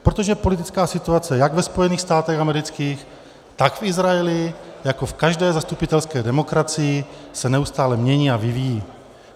Protože politická situace jak ve Spojených státech amerických, tak v Izraeli jako v každé zastupitelské demokracii se neustále mění a vyvíjí.